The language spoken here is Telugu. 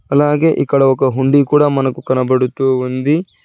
అలాగే ఇక్కడ ఒక హుండీ కూడా మనకు కనబడుతూ ఉంది.